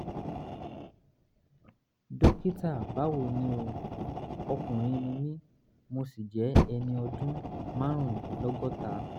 dókítà báwo ni o? ọkùnrin ni mí mo sì jẹ́ ẹni ọdún márùndínlọ́gọ́ta